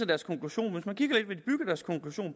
deres konklusion